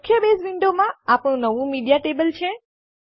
મુખ્ય બેઝ વિન્ડોમાં આપણું નવું મીડિયા ટેબલ છે